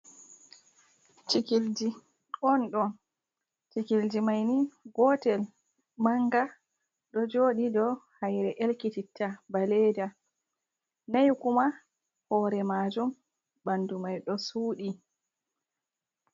cikilje on ɗo cikilje maini gotel manga ɗo joɗi do haire ɗelkititta baleda, nai kuma hore majum ɓandu mai ɗo sudi.